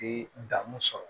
E dan mun sɔrɔ